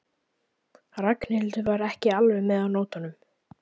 Ragnhildur var ekki alveg með á nótunum.